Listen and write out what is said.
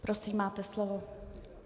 Prosím, máte slovo.